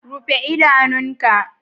Rufe idanun ka!